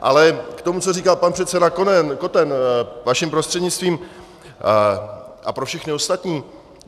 Ale k tomu, co říkal pan předseda Koten, vaším prostřednictvím, a pro všechny ostatní.